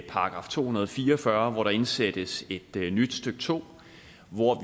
§ to hundrede og fire og fyrre hvor der indsættes et nyt stykke to hvor